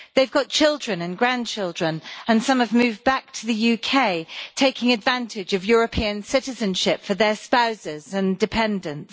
They've got children and grandchildren and some have moved back to the UK, taking advantage of European citizenship for their spouses and dependents.